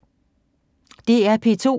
DR P2